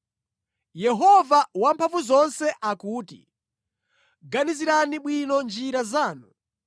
Yehova Wamphamvuzonse akuti, “Ganizirani bwino njira zanu.